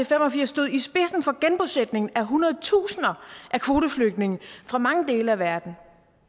fem og firs stod i spidsen for genbosætningen af hundredetusinder af kvoteflygtninge fra mange dele af verden